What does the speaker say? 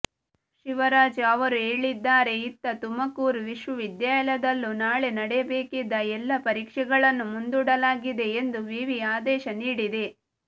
ಶಿವರಾಜ್ ಅವರು ಹೇಳಿದ್ದಾರೆ ಇತ್ತ ತುಮಕೂರು ವಿಶ್ವವಿದ್ಯಾಲಯದಲ್ಲೂ ನಾಳೆ ನಡೆಯಬೇಕಿದ್ದ ಎಲ್ಲಾ ಪರೀಕ್ಷೆಗಳನ್ನು ಮುಂದೂಡಲಾಗಿದೆ ಎಂದು ವಿವಿ ಆದೇಶ ನೀಡಿದೆ